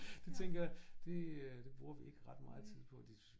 Det tænker jeg det øh det bruger vi ikke ret meget tid på